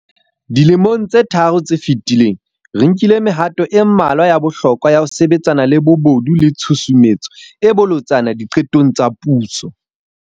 Dilemong tse tharo tse fetileng, re nkile mehato e mmalwa ya bohlokwa ya ho sebetsana le bobodu le tshusumetso e bolotsana diqetong tsa puso.